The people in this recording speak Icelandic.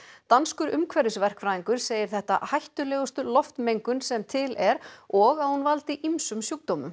danskur segir þetta hættulegustu loftmengun sem til er og að hún valdi ýmsum sjúkdómum